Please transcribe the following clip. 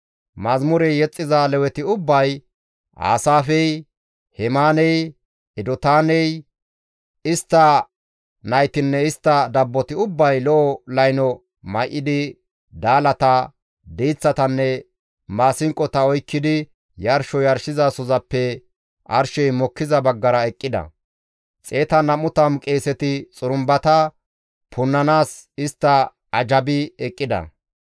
Yeththa yexxiza Leweti ubbay, Aasaafey, Hemaaney, Edotaaney, istta naytinne istta dabboti ubbay lo7o layno may7idi daalata, diiththatanne maasinqota oykkidi yarsho yarshizasozappe arshey mokkiza baggara eqqida; 120 qeeseti xurumbata punnanaas istta ajjabi eqqida.